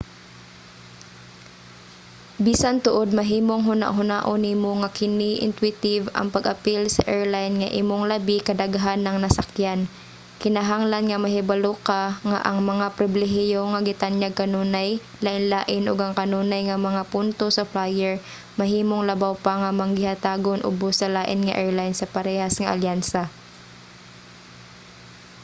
bisan tuod mahimong hunahunaon nimo nga kini intuitive ang pag-apil sa airline nga imong labi kadaghan ng nasakyan kinahanglan nga mahibalo ka nga ang mga pribilehiyo nga gitanyag kanunay lainlain ug ang kanunay nga mga punto sa flyer mahimong labaw pa nga manggihatagon ubos sa lain nga airline sa parehas nga alyansa